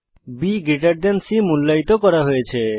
BC মূল্যায়িত করা হয়েছে